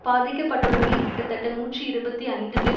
பாதிக்கப்பட்டவர்களில் கிட்டத்தட்ட நூற்றி இருபத்தி ஐந்து பேர்